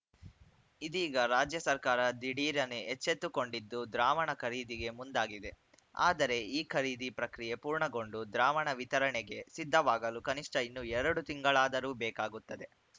ಇದೀಗ ರಾಜ್ಯ ಸರ್ಕಾರ ದಿಢೀರನೆ ಎಚ್ಚೆತ್ತುಕೊಂಡಿದ್ದು ದ್ರಾವಣ ಖರೀದಿಗೆ ಮುಂದಾಗಿದೆ ಆದರೆ ಈ ಖರೀದಿ ಪ್ರಕ್ರಿಯೆ ಪೂರ್ಣಗೊಂಡು ದ್ರಾವಣ ವಿತರಣೆಗೆ ಸಿದ್ಧವಾಗಲು ಕನಿಷ್ಠ ಇನ್ನು ಎರಡು ತಿಂಗಳಾದರೂ ಬೇಕಾಗುತ್ತದೆ